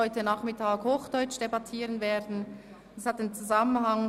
Heute Nachmittag führen wir die Debatte ausnahmsweise in Hochdeutsch weiter.